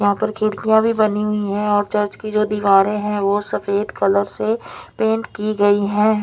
यहाँ पर खड्किया भी बनी हुई है और चर्च की जो दीवारे है वो सफ़ेद कलर से पेंट की गयी है।